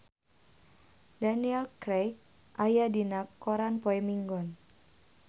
Daniel Craig aya dina koran poe Minggon